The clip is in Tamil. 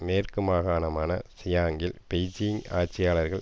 மேற்கு மாகாணமான ஷிங்யாங்கில் பெய்ஜிங் ஆட்சியாளர்கள்